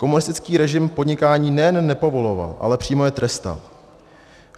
Komunistický režim podnikání nejen nepovoloval, ale přímo je trestal.